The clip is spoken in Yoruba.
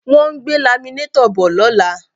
Wọ́n ń gbé laminétọ̀ bọ̀ lọ́la